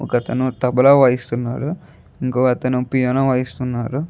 ఒక అతను తబలా వైస్తునాడు ఇంకొక అతను పియానో వైస్తునాడు.